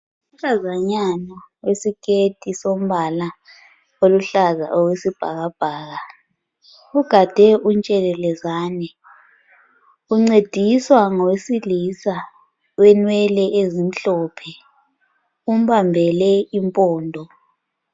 Unkazanyana owesikheti sombala oluhlaza okwesibhakabhaka ugade untshelelezani. Uncediswa lowesilisa owenwele ezimhlophe. Umbambele impondo.